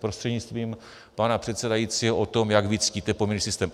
prostřednictvím pana předsedajícího o tom, jak vy ctíte poměrný systém.